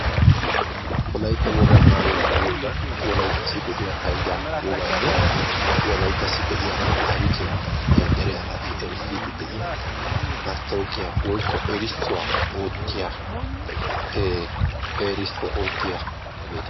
Wolaytta wogaa maayuwaa maayyiyoogan wolayttassi de'iyaa hayddaa, wogaanne Wolayttassi de'iyaa taarikiya dere asassi erissidi de'iyaa mastawoqiyaa woykko erissuwaa oottiyaa ee erissuwaa oottiyaagaeeta.